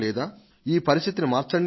ఈ పరిస్థితిని మార్చండి అని